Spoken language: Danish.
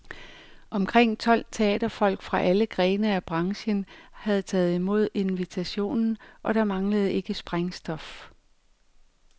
Omkring tolv nul teaterfolk fra alle grene af branchen havde taget mod invitationen, og der manglede ikke sprængstof.